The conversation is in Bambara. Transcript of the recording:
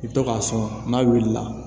I bɛ to k'a sɔn n'a wulila